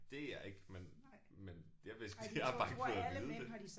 Det er jeg ikke men men derved jeg har bare ikke fået at vide det